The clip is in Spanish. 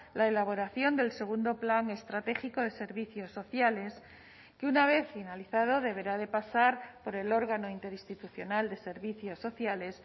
la elaboración del segundo plan estratégico de servicios sociales que una vez finalizado deberá de pasar por el órgano interinstitucional de servicios sociales